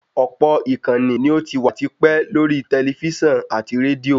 Ọ̀pọ̀ ìkànnì ní ò ti wà ti pẹ́ lórí tẹlifísàn àti rédíò